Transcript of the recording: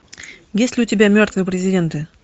есть ли у тебя мертвые президенты